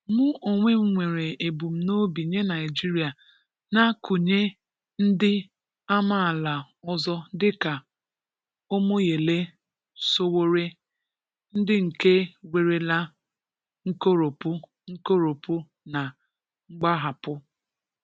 Mụ onwe m nwere ebumnobi nye Naịjirịa na gụnye ndị amaala ọzọ dịka Omoyele Sowore, ndị nke nwerela nkoropụ nkoropụ na mgbahapụ